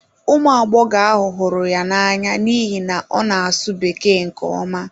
Ụmụ agbọghọ ahụ hụrụ ya n'anya n'ihi na ọ na-asụ Bekee nke ọma.